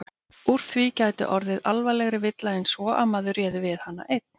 Úr því gæti orðið alvarlegri villa en svo að maður réði við hana einn.